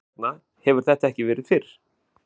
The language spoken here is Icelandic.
Hvers vegna hefur þetta ekki verið fyrr?